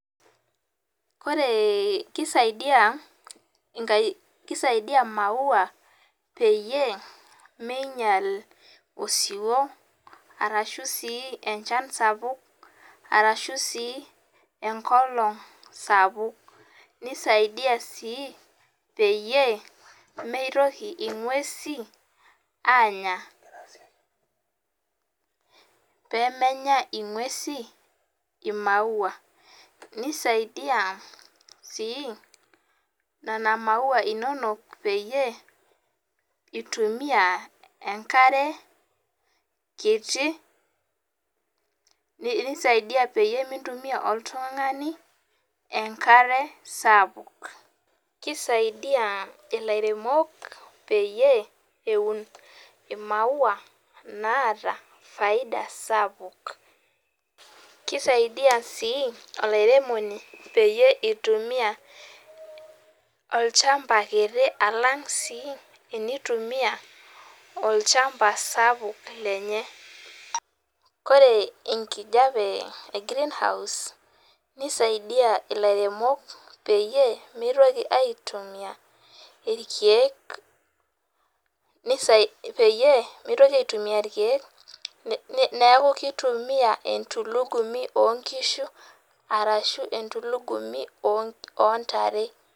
Wore, kisaidia imaua, peyie miinyial osiwuo arashu sii enchan sapuk, arashu sii enkolong' sapuk. Nisaidia sii peyie, mitoki enguesin aanya. Pee menya inguesin imaua. Nisaidia sii, niana maua inonok peyie itumia enkare kiti, nisaidia peyie mitumia oltungani enkare sapuk. Kisaidia ilairemok peyie eun imau naata faida sapuk. Kisaidia sii olairemoni peyie itumia olchamba kitii alang sii tenitumiya olchamba sapuk lenye. Wore enkijape e greenhouse, nisaidia ilairemok peyie, mitoki aitumia irkiek, peyie mitoki aitumia irkiek, neeku kitumiyia entulugumi oonkishu, arashu entulugumi oontare.